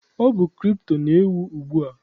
Ọ bụkwa kripto na-ewu ugbua.